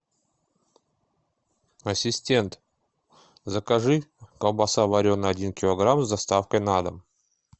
ассистент закажи колбаса вареная один килограмм с доставкой на дом